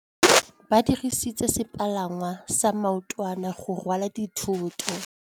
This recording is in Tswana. Ba dirisitse sepalangwasa maotwana go rwala dithôtô.